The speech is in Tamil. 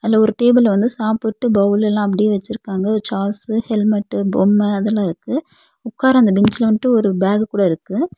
அதுல ஒரு டேபிள்ல வந்து சாப்புட்டு பவுல் எல்லா அப்படியே வெச்சிருக்காங்க ஒரு சாஸ்சு ஹெல்மெட்டு பொம்ம அதெல்லா இருக்கு உக்கார்ர அந்த பெஞ்சுல வந்ட்டு ஒரு பேகு கூட இருக்கு.